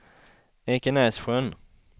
Ekenässjön